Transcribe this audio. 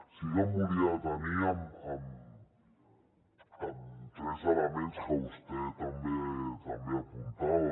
sí que em volia detenir en tres elements que vostè també apuntava